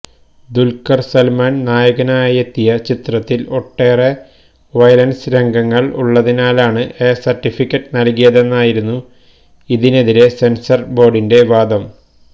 ദുൽഖർ സൽമാൻ നായകനായെത്തിയ ചിത്രത്തിൽ ഒട്ടേറെ വയലൻസ് രംഗങ്ങൾ ഉള്ളതിനാലാണ് എ സർട്ടിഫിക്കറ്റ് നൽകിയതെന്നായിരുന്നു ഇതിനെതിരെ സെൻസർ ബോർഡിന്റെ വാദം